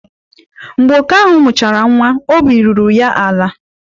Mgbe oke ahụ mụchara nwa, obi ruru ya ala.